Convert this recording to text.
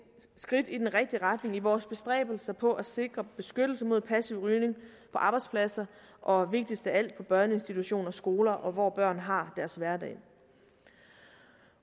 skridt i den rigtige retning i vores bestræbelser på at sikre beskyttelse mod passiv rygning på arbejdspladser og vigtigst af alt på børneinstitutioner i skoler og hvor børn har deres hverdag